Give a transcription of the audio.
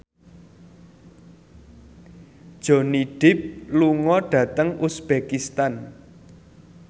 Johnny Depp lunga dhateng uzbekistan